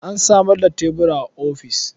An samar da tebura a ofis.